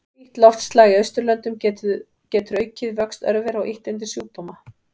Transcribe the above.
Hlýtt loftslag í Austurlöndum getur aukið vöxt örvera og ýtt undir sjúkdóma.